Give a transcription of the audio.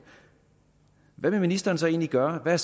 hvad vil ministeren så egentlig gøre hvad